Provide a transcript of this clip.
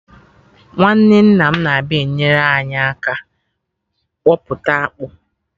Nwanne nna m na-abịa enyere anyị aka kpọpụta akpụ